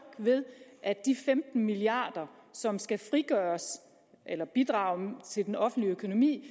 ved at de femten milliard kr som skal bidrage til den offentlige økonomi